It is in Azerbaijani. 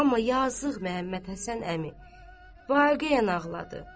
Amma yazıq Məmmədhəsən əmi vaqeiyan ağladı.